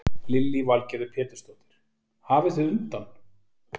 Lillý Valgerður Pétursdóttir: Hafið þið undan?